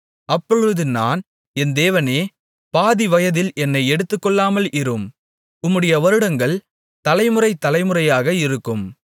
அப்பொழுது நான் என் தேவனே பாதி வயதில் என்னை எடுத்துக்கொள்ளாமல் இரும் உம்முடைய வருடங்கள் தலைமுறை தலைமுறையாக இருக்கும்